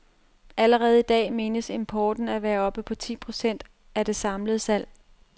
Allerede i dag menes importen at være oppe på ti procent af det samlede salg.